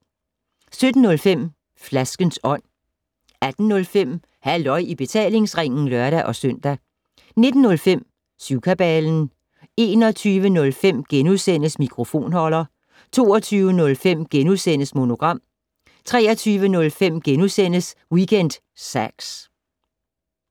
17:05: Flaskens Ånd 18:05: Halløj i betalingsringen (lør-søn) 19:05: Syvkabalen 21:05: Mikrofonholder * 22:05: Monogram * 23:05: Weekend Sax *